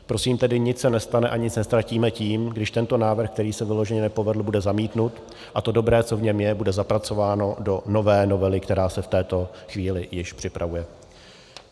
Prosím tedy, nic se nestane a nic neztratíme tím, když tento návrh, který se vyloženě nepovedl, bude zamítnut a to dobré, co v něm je, bude zapracováno do nové novely, která se v této chvíli již připravuje.